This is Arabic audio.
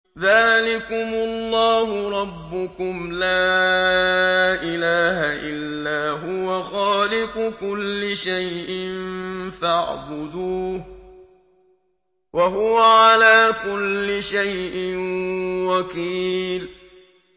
ذَٰلِكُمُ اللَّهُ رَبُّكُمْ ۖ لَا إِلَٰهَ إِلَّا هُوَ ۖ خَالِقُ كُلِّ شَيْءٍ فَاعْبُدُوهُ ۚ وَهُوَ عَلَىٰ كُلِّ شَيْءٍ وَكِيلٌ